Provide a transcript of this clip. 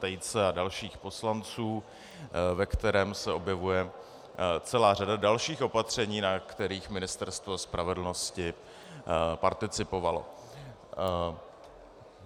Tejce a dalších poslanců, ve kterém se objevuje celá řada dalších opatření, na kterých Ministerstvo spravedlnosti participovalo.